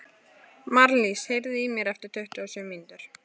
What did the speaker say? Marlís, heyrðu í mér eftir tuttugu og sjö mínútur.